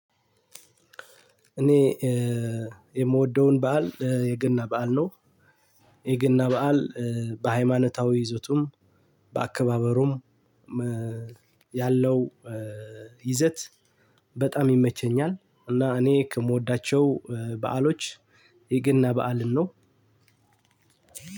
እኔ የምወደውን በዓል የገና በዓል ነው። የገና በዓል በሃይማኖታዊ ይዘቱም በአከባበሩም ያለው ይዘት በጣም ይመቸኛል። እና እኔ ከምወዳቸው በዓሎች የገና በዓልን ነው።